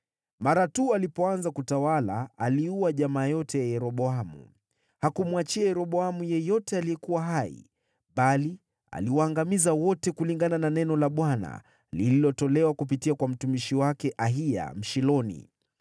Mara tu alipoanza kutawala, aliua jamaa yote ya Yeroboamu. Hakumwachia Yeroboamu yeyote aliyekuwa hai, bali aliwaangamiza wote, kulingana na neno la Bwana lililotolewa kupitia kwa mtumishi wake Ahiya Mshiloni,